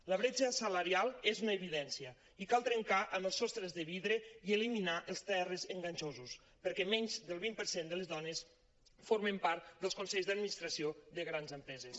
la bretxa salarial és una evidència i cal trencar els sostres de vidre i eliminar els terres enganxosos perquè menys del vint per cent de les dones formen part dels consells d’administració de grans empreses